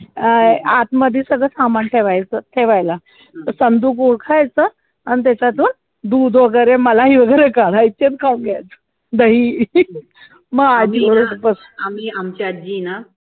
अं आतमध्ये सगळं सामान ठेवायचं ठेवायला, तो चंदू आणि त्याच्यातून दूध वैगरे मलाई वगैरे काढायचा आणि खाऊन घेयचा, दही मग आजी बरोबर बस